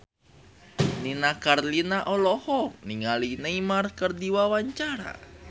Nini Carlina olohok ningali Neymar keur diwawancara